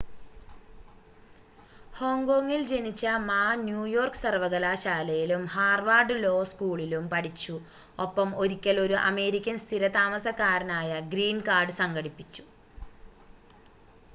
"ഹോങ്കോങ്ങിൽ ജനിച്ച Ma New York സർവകലാശാലയിലും Harvard law സ്കൂളിലും പഠിച്ചു ഒപ്പം ഒരിക്കൽ ഒരു അമേരിക്കൻ സ്ഥിര താമസക്കാരനായ "ഗ്രീൻ കാർഡ്" സംഘടിപ്പിച്ചു.